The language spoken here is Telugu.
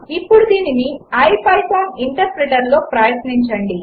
ఇప్పుడు దీనిని ఐపైథాన్ ఇంటర్ప్రెటర్లో ప్రయత్నించండి